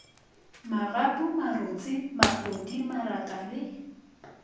magapu marotse mafodi maraka le